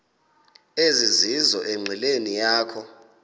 ezizizo enqileni yakho